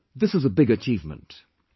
This is a big achievement for the year